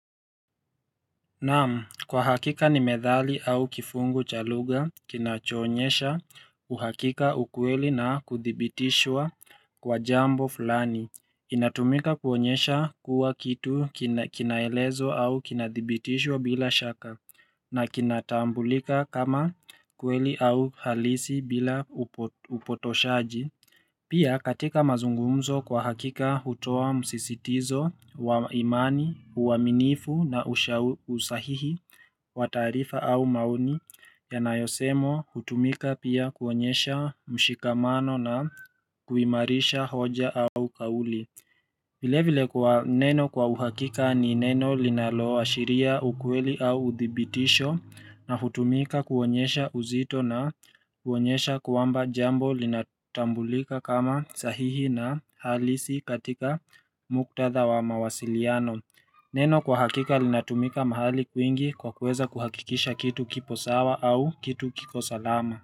Naam kwa hakika ni methali au kifungu cha lugha kinachoonyesha uhakika ukweli na kuthibitishwa kwa jambo fulani inatumika kuonyesha kuwa kitu kinaelezwa au kinadhibitishwa bila shaka na kinatambulika kama kweli au halisi bila upotoshaji Pia katika mazungumzo kwa hakika hutoa msisitizo wa imani, uaminifu na usahihi wa taarifa au maoni yanayosemwa hutumika pia kuonyesha mshikamano na kuimarisha hoja au kauli. Vilevile kwa neno kwa uhakika ni neno linaloashiria ukweli au udhibitisho na hutumika kuonyesha uzito na kuonyesha kwamba jambo linatambulika kama sahihi na halisi katika muktadha wa mawasiliano. Neno kwa hakika linatumika mahali kwingi kwa kueza kuhakikisha kitu kipo sawa au kitu kiko salama.